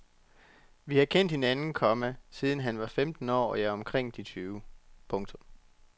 Vi har kendt hinanden, komma siden han var femten år og jeg omkring de tyve. punktum